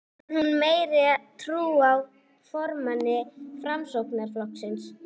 Hefur hún meiri trú á formanni Framsóknarflokksins?